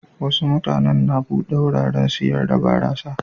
Wasu mutanen na bude wuraren sayar da barasa.